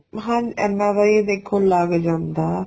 ਹਾਂ ਇੰਨਾ ਬਾਈ ਦੇਖੋ ਲੱਗ ਜਾਂਦਾ